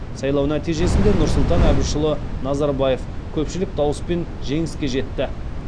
сайлау нәтижесінде нұрсұлтан әбішұлы назарбаев көпшілік дауыспен жеңіске жетті